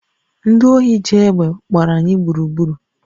Ndị ohi ji egbe gbara anyị gburugburu